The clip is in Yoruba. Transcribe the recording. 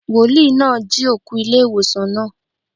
Wòlíì náà jí òkú ilé ìwòsàn náà.